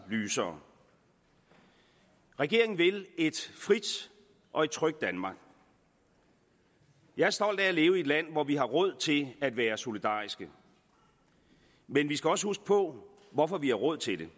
lysere regeringen vil et frit og trygt danmark jeg er stolt af at leve i et land hvor vi har råd til at være solidariske men vi skal også huske på hvorfor vi har råd til